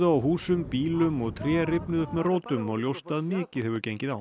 á húsum bílum og tré rifnuðu upp með rótum og ljóst að mikið hefur gengið á